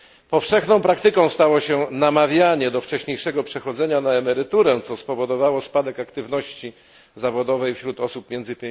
Powszechną praktyką stało się namawianie do wcześniejszego przechodzenia na emeryturę, co spowodowało spadek aktywności zawodowej wśród osób między